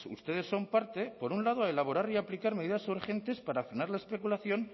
ustedes son parte por un lado a elaborar y aplicar medidas urgentes para frenar la especulación